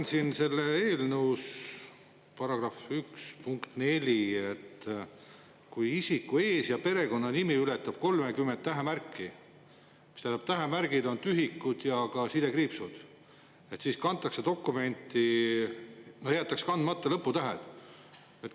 Ma loen selle eelnõu § 1 punktist 4, et kui isiku ees‑ või perekonnanimi ületab 30 tähemärki, kusjuures tähemärgid on ka tühikud ja sidekriipsud, siis kantakse see nimi dokumenti nii, et jäetakse sinna kandmata lõputähed.